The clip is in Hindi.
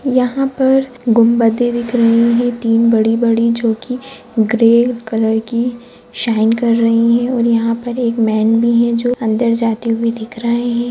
यहां पर गुंबदे दिख रही है तीन बड़ी-बड़ी जो कि ग्रे कलर की शाइन कर रही है और यहां पर एक मैन भी है जो अंदर जाते हुऐ दिख रहे है।